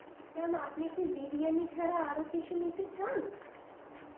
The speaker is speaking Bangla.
Ma'am আপনি কি বিরিয়ানি ছাড়া আরো কিছু নিতে চান?